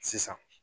Sisan